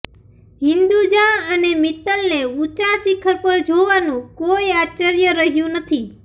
હિન્દુજા અને મિત્તલને ઊંચા શિખર પર જોવાનું કોઈ આશ્ચર્ય રહ્યું નથી